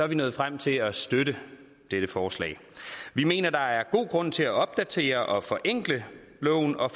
vi nået frem til at støtte dette forslag vi mener der er god grund til at opdatere og forenkle loven og